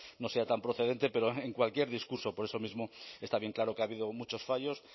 no sea tan procedente pero en cualquier discurso por eso mismo está bien claro que ha habido muchos fallos